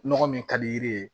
Nɔgɔ min ka di yiri ye